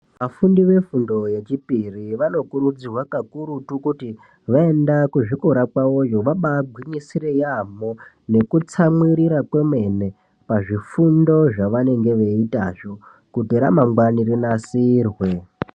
Vafundi vefundo yechipiri vanokurudzirwa kakurutu kuti vaenda kuzvikora kwavoyo vabaagwinyisire yaamho nekutsamwirira kwemene pazvifundo zvavanenge veitazvo kuti ramangwani rinasirwe.